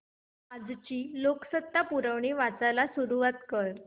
आजची लोकसत्ता पुरवणी वाचायला सुरुवात कर